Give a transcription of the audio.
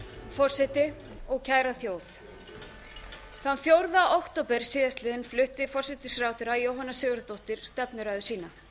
forseti og kæra þjóð þann fjórða október síðastliðinn flutti forsætisráðherra jóhanna sigurðardóttir stefnuræðu sína